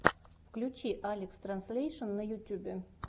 включи алекстранслейшен на ютьюбе